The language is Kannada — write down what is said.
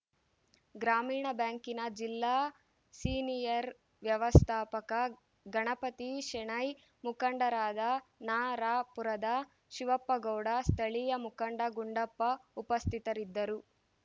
ಗ್ರಾಮೀಣ ಬ್ಯಾಂಕಿನ ಜಿಲ್ಲಾ ಸೀನಿಯರ್‌ ವ್ಯವಸ್ಥಾಪಕ ಗಣಪತಿ ಶೆಣೈ ಮುಖಂಡರಾದ ನರಾಪುರದ ಶಿವಪ್ಪ ಗೌಡ ಸ್ಥಳೀಯ ಮುಖಂಡ ಗುಂಡಪ್ಪ ಉಪಸ್ಥಿತರಿದ್ದರು